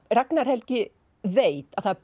Ragnar Helgi veit að það er